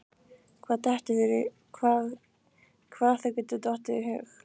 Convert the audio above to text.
Hvað þér getur dottið í hug.